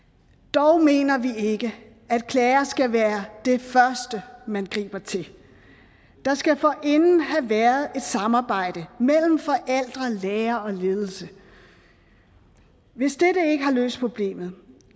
dog mener vi ikke at klager skal være det første man griber til der skal forinden have været et samarbejde mellem forældre lærere og ledelse hvis dette ikke har løst problemet